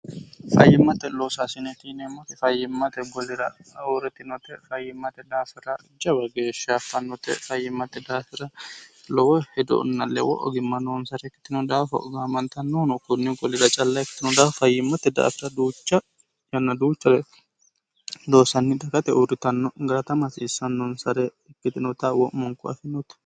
fayyimmate loosaasine yineemmote fayyimmate golira ahuurritinote fayyimmate daafira jawa geeshsha affannote fayyimmate daafira lowo hedonna lewo ogimma noonsare kkitino daafa gaamantannohuno kunni golira calla ikkitino daafa fayyimmote daafira duucha yanna duuchare loosanni dakate uurritanno garata mahasiissannonsare ikkitinota wo'monku afinote